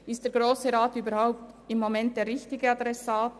Ist der Grosse Rat momentan überhaupt der richtige Adressat?